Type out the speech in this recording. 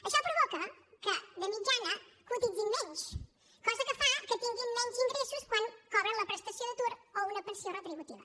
això provoca que de mitjana cotitzin menys cosa que fa que tinguin menys ingressos quan cobren la prestació d’atur o una pensió contributiva